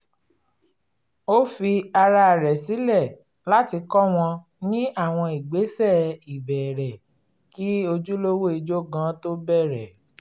ó fi ara rẹ̀ sílẹ̀ láti kọ́ wọn ní àwọn ìgbésẹ̀ ìbẹ̀rẹ̀ um kí ojúlówó ijó gan tó bẹ̀rẹ̀